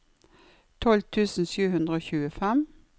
tolv tusen sju hundre og tjuefem